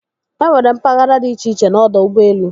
E nwere mpaghara di iche-iche n'ọdọ ụgbọelu.